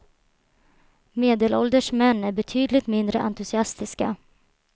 Medelålders män är betydligt mindre entusiastiska.